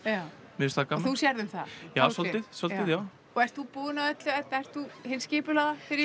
mér finnst það gaman og þú sérð um það já svolítið svolítið ert þú búin að öllu Edda ert þú hin skipulagða fyrir